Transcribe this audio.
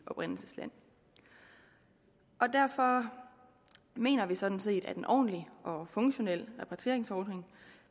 oprindelsesland derfor mener vi sådan set at en ordentlig og funktionel repatrieringsordning